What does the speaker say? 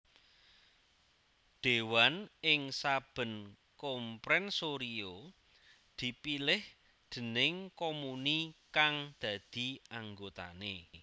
Déwan ing saben comprensorio dipilih déning comuni kang dadi anggotané